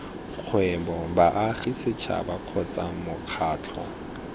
kgwebo baagi setšhaba kgotsa mokgatlho